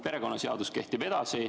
Perekonnaseadus kehtib edasi.